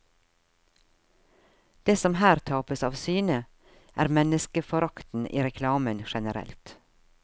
Det som her tapes av syne, er menneskeforakten i reklamen generelt.